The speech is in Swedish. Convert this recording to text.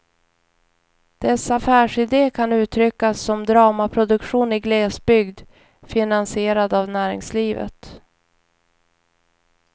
Dess affärside kan uttryckas som dramaproduktion i glesbygd, finansierad av näringslivet.